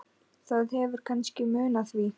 Það hefur kannski munað því.